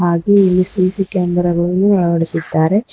ಹಾಗೆ ಇಲ್ಲಿ C C camera ಗಳನ್ನು ಅಳವಡಿಸಿದ್ದಾರೆ.